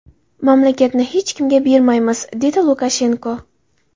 Mamlakatni hech kimga bermaymiz”, dedi Lukashenko.